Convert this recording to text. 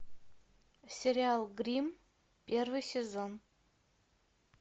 сериал гримм первый сезон